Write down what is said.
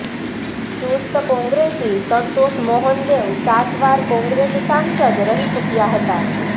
ચુસ્ત કોંગ્રેસી સંતોષ મોહન દેવ સાત વાર કોંગ્રેસ સાંસદ રહી ચૂક્યા હતા